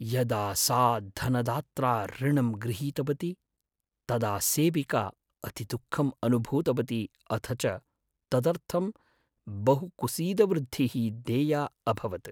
यदा सा धनदात्रा ऋणं गृहीतवती तदा सेविका अतिदुःखम् अनुभूतवती अथ च तदर्थं बहुकुसीदवृद्धिः देया अभवत्।